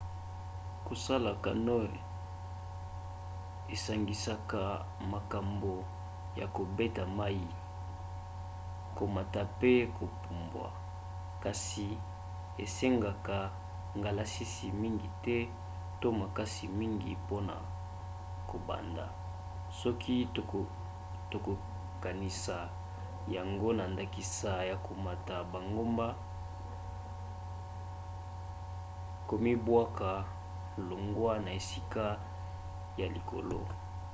kosala canoe esangisaka makambo ya kobeta mai komata mpe kopumbwa - kasi esengaka ngalasisi mingi te to makasi mingi mpona kobanda soki tokokanisi yango na ndakisa na komata bangomba komibwaka longwa na esika ya likolo